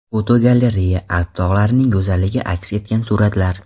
Fotogalereya: Alp tog‘larining go‘zalligi aks etgan suratlar.